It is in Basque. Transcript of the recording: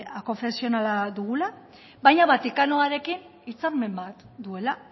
akonfesionala dugula baina vatikanoarekin hitzarmen bat duela